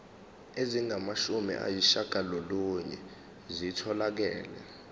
ezingamashumi ayishiyagalolunye zitholakele